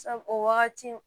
Sabu o wagati